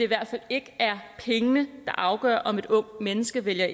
hvert fald ikke er pengene der afgør om et ungt menneske vælger